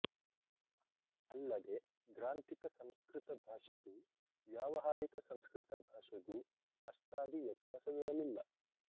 ಅಲ್ಲದೆ ಗ್ರಾಂಥಿಕ ಸಂಸ್ಕೃತ ಭಾಷೆಗೂ ವ್ಯಾವಹಾರಿಕ ಸಂಸ್ಕೃತ ಭಾಷೆಗೂ ಅಷ್ಟಾಗಿ ವ್ಯತ್ಯಾಸವಿರಲಿಲ್ಲ